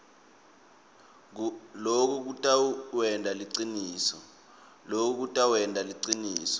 loku kutawenta siciniseko